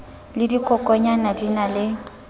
le dikokonyana di na le